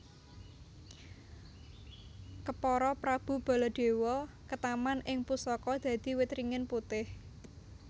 Kepara Prabu Baladewa ketaman ing pusaka dadi wit ringin putih